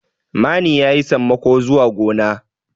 mani ya yi sammako zuwa gona